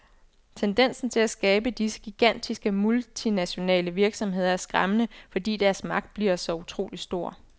Tendensen til at skabe disse gigantiske multinationale virksomheder er skræmmende, fordi deres magt bliver så utrolig stor.